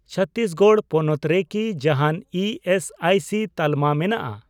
ᱪᱷᱚᱛᱛᱤᱥᱜᱚᱲ ᱯᱚᱱᱚᱛ ᱨᱮᱠᱤ ᱡᱟᱦᱟᱱ ᱤ ᱮᱥ ᱟᱭ ᱥᱤ ᱛᱟᱞᱢᱟ ᱢᱮᱱᱟᱜᱼᱟ ?